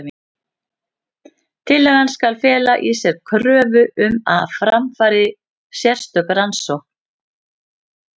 Tillagan skal fela í sér kröfu um að fram fari sérstök rannsókn.